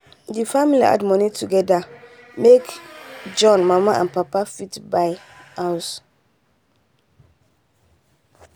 the family add money together make john mama and papa fit buy house